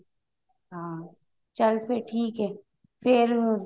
ਹਾਂ ਚਲੇ ਫ਼ੇਰ ਠੀਕ ਹੈ ਫ਼ੇਰ